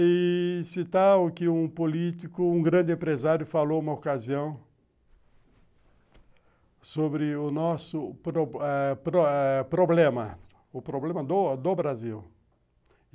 E... citar o que um político, um grande empresário falou uma ocasião sobre o nosso problema, eh o problema do Brasil.